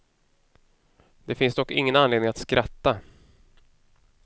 Det finns dock ingen anledning att skratta.